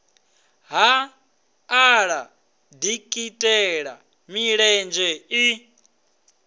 ha ḓala dikitela milenzhe i